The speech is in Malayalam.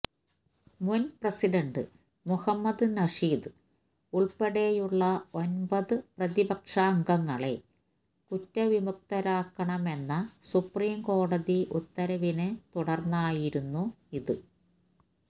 മുന് പ്രസിഡന്റ് മുഹമ്മദ് നഷീദ് ഉള്പ്പെടെയുള്ള ഒമ്പത് പ്രതിപക്ഷാംഗങ്ങളെ കുറ്റവിമുക്തരാക്കണമെന്ന സുപ്രീംകോടതി ഉത്തരവിനെത്തുടര്ന്നായിരുന്നു ഇത്